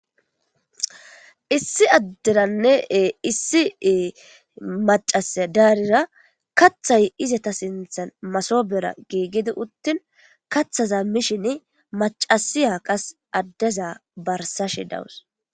issi adderannee issie macasya daarira kathay izata sinthan masobera giigidi uttin kathaza mishin macasiya qas addeza barsashe dawus